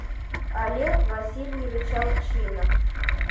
олег васильевич алчинов